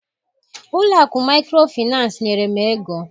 Ụlọ akụ maịkrofịnansị nyere m ego.